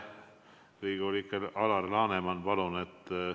Riigikogu liige Alar Laneman, palun!